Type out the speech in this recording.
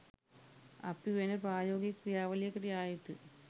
අපි වෙන ප්‍රායෝගික ක්‍රියාවලියකට යා යුතුයි